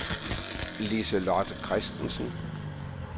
Lise-Lotte Christensen